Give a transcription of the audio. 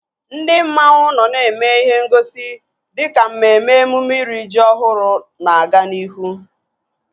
Ndị mmanwu nọ na-eme ihe ngosi dịka mmemme emume iri ji ọhụrụ na-aga n'ihu